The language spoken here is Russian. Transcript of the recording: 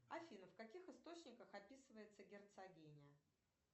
афина в каких источниках описывается герцогиня